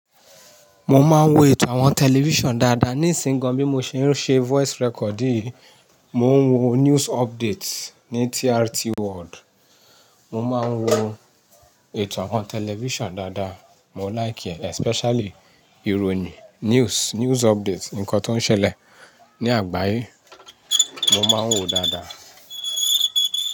Mo máa ń wo ètò àwọn tẹlifíṣàn dáadáa ní ìsìǹgán bí mo ṣe ń ṣe voice recording, mo ń wo news updates ní TRT World. Mo máa ń wo ètò àwọn tẹlifíṣàn dáadáa, mo ńlákì ẹ́ especially ìròyìn, news, news updates, nǹkan tó ń ṣẹlẹ̀ ní àgbáyé, mo máa ń wo dáadáa.